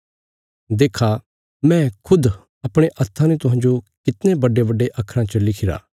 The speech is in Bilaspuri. देक्खा मैं खुद अपणे हत्थां ने तुहांजो कितणे बड्डेबड्डे अखराँ च लिखिरा